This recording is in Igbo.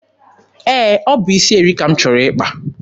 Ee, ọ bụ isi eri ka m chọrọ ịkpa.